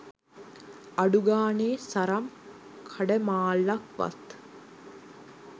අඩුගානෙ සරම් කඩමාල්ලක් වත්